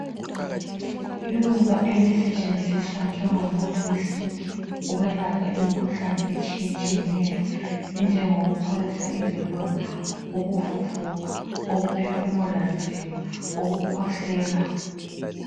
Iluba elisetshenziswa njengomuthi wesintu ukwelapha imikhuhlane etshiyetshiyeneyo enjengo kupholisa iziloda ukuvuvuka ukuphefumula nzima ukukhwehlela